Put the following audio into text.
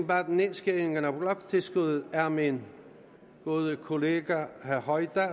bag nedskæringen af bloktilskuddet er min gode kollega herre hoydal